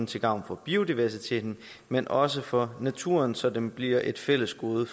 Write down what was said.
til gavn for biodiversiteten men også for naturen så den bliver et fælles gode